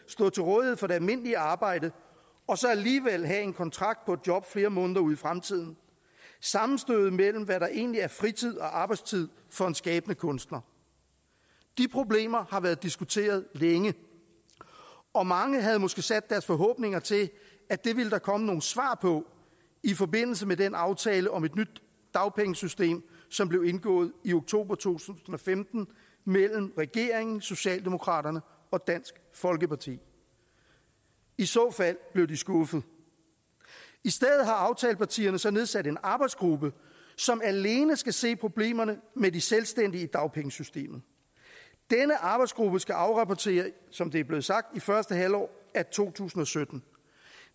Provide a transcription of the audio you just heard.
stå til rådighed for et almindeligt arbejde og så alligevel have en kontrakt på et job flere måneder ud i fremtiden sammenstødet mellem hvad der egentlig er fritid og arbejdstid for en skabende kunstner de problemer har været diskuteret længe og mange havde måske sat deres forhåbninger til at det ville der komme nogle svar på i forbindelse med den aftale om et nyt dagpengesystem som blev indgået i oktober to tusind og femten mellem regeringen socialdemokraterne og dansk folkeparti i så fald blev de skuffet i stedet har aftalepartierne så nedsat en arbejdsgruppe som alene skal se på problemerne med de selvstændige i dagpengesystemet denne arbejdsgruppe skal afrapportere som det er blevet sagt i første halvår af to tusind og sytten